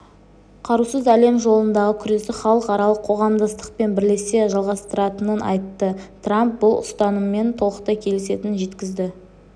қарусыз әлем жолындағы күресті халықаралық қоғамдастықпен бірлесе жалғастыратынын айтты трамп бұл ұстаныммен толықтай келісетінін жеткізді